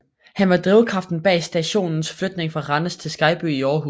Han var drivkraften bag stationens flytning fra Randers til Skejby i Aarhus